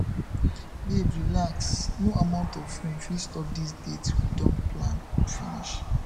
babe relax no amount of rain fit stop dis date we don plan finish